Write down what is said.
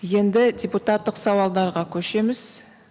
енді депутаттық сауалдарға көшеміз